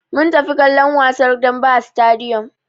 Mun tafi kallon wasar dambe a sitadiyom.